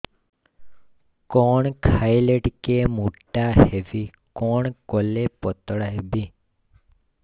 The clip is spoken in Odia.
କଣ ଖାଇଲେ ଟିକେ ମୁଟା ହେବି କଣ କଲେ ପତଳା ହେବି